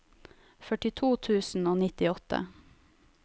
førtito tusen og nittiåtte